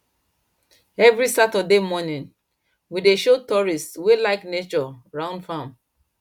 every saturday morning we dey show tourists wey like nature round farm